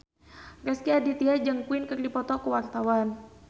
Rezky Aditya jeung Queen keur dipoto ku wartawan